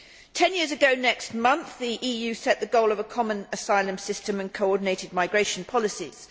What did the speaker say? Ten years ago next month, the EU set the goal of a common asylum system and coordinated migration policies.